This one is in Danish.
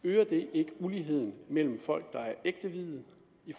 ikke uligheden mellem folk der er ægteviede